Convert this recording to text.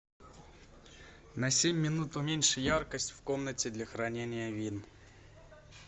на семь минут уменьши яркость в комнате для хранения вин